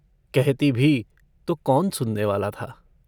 कहती भी तो कौन सुननेवाला था।